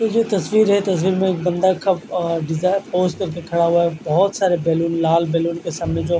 ये जो तस्वीर है तस्वीर में बंदा खब और डिज़ा पोज़ करके खड़ा हुआ है बोहोत सारे बैलून लाल बैलून क सामने जो--